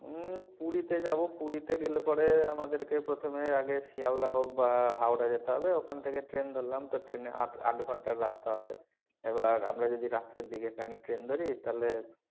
উম পুরি তে যাবো পুরি তে গেলে পরে আমাদের কে প্রথমে আগে শিয়ালদা হোক বা হাওড়া যেতে হবে ওখান থেকে train ধরলাম তো train এ আটআট ঘণ্টার রাস্তা হবে এবার আমরা যদি রাত্রের দিকে এখানে train ধরি তাহলে,